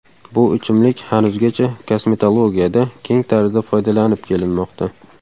Bu ichimlik hanuzgacha kosmetologiyada keng tarzda foydalanib kelinmoqda.